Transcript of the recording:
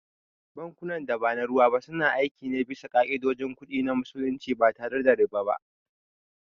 Bankunan da ba na ruwa ba suna aiki ne bisa ka’idojin kudi na Musulunci ba tare da riba ba.